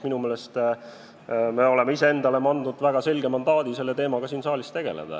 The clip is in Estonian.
Minu meelest me oleme iseendale andnud väga selge mandaadi selle teemaga siin saalis tegeleda.